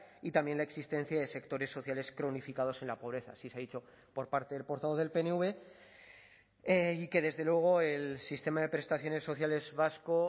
y también la existencia de sectores sociales cronificados en la pobreza sí se ha dicho por parte del portavoz del pnv y que desde luego el sistema de prestaciones sociales vasco